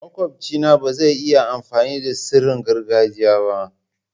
Makwabci na ba zai iya amfani da tsarin gargajiya ba.